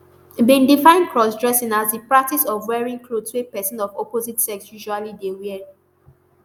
bin define crossdressing as di practice of wearing clothes wey pesin of opposite sex usually dey wear